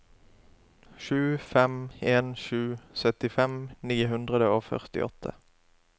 sju fem en sju syttifem ni hundre og førtiåtte